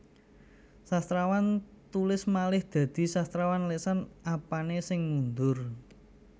Sastrawan tulis malih dadi sastrawan lesan Apane sing mundur